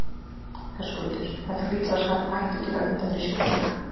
Höskuldur: Þetta hlýtur að skapa hættu til að mynda fyrir sjúklinga?